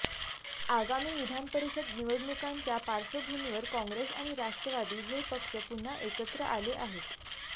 आगामी विधानपरिषद निवडणुकांच्या पार्श्वभूमीवर काँग्रेस आणि राष्ट्रवादी हे पक्ष पुन्हा एकत्र आले आहेत